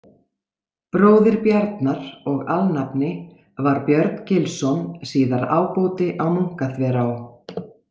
Bróðir Bjarnar og alnafni var Björn Gilsson, síðar ábóti á Munkaþverá.